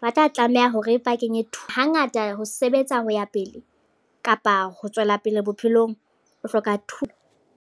ba tla tlameha hore ba kenye thuto. Hangata ho sebetsa ho ya pele kapa ho tswela pele bophelong. O hloka thuto.